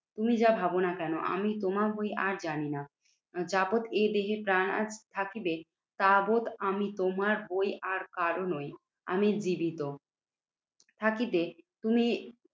তুমি যা ভাবনা কেন আমি তোমার বই আর জানিনা। যাবৎ এ দেহে প্রাণ আর থাকিবে তাবৎ আমি তোমার বই আর কারো নই। আমি জীবিত থাকিতে তুমি